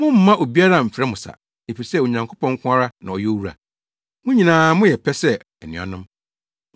“Mommma obiara mmfrɛ mo sa. Efisɛ Onyankopɔn nko ara na ɔyɛ Owura. Mo nyinaa moyɛ pɛ sɛ anuanom.